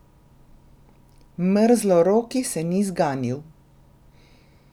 Mrzloroki se ni zganil.